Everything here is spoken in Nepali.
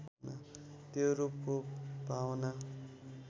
त्यो रूपको भावना